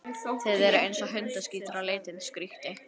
Þið eruð eins og hundaskítur á litinn, skríkti